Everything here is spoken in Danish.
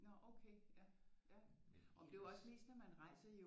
Nå okay ja ja jamen det er jo også mest når man rejser i